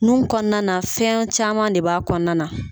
Nun kɔnɔna fiyɛn caman de b'a kɔnɔna na.